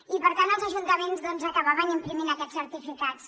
i per tant els ajuntaments doncs acabaven imprimint aquests certificats